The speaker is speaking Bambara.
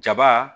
Jaba